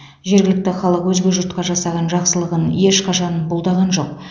жергілікті халық өзге жұртқа жасаған жақсылығын ешқашан бұлдаған жоқ